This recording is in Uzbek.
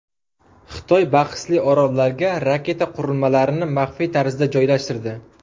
Xitoy bahsli orollarga raketa qurilmalarini maxfiy tarzda joylashtirdi.